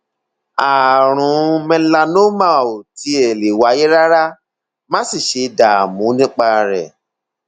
ààrùn melanoma ò tiẹ lè wáyé rárá má sì ṣe dààmú nípa rẹ